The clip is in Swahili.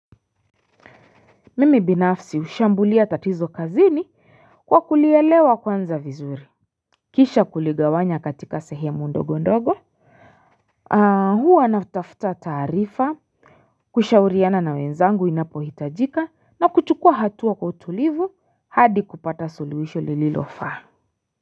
Mimi binafsi hushambulia tatizo kazini kwa kulielewa kwanza vizuri. Kisha kuligawanya katika sehemu ndogo ndogo Huwa natafuta ta.arifa kushauriana na wenzangu inapo hitajika na kuchukua hatua kwa utulivu hadi kupata suluhisho lililofaa.